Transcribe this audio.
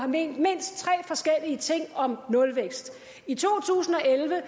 ment mindst tre forskellige ting om nulvækst i to tusind og elleve